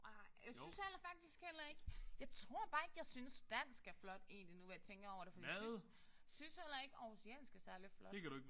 Nej. Jeg synes heller faktisk heller ikke jeg tror bare ikke jeg synes dansk er flot egentlig nu hvor jeg tænker over det. Jeg synes synes heller ikke århusiansk er særlig flot